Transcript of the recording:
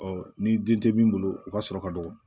ni den tɛ min bolo u ka sɔrɔ ka dɔgɔ